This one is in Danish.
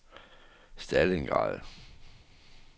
Stalingrad